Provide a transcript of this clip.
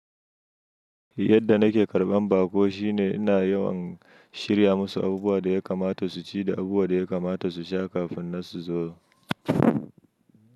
Yadda nake karɓan baƙo shine ina yawan shirya masu abubuwa da ya kamata su ci da abubuwan da yakamata su sha kafi nan su zo.